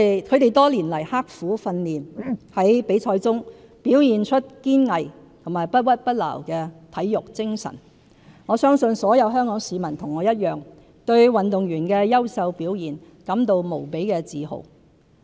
他們多年來刻苦訓練，在比賽中表現出堅毅和不屈不撓的體育精神，我相信所有香港市民與我一樣，對運動員的優秀表現感到無比自豪。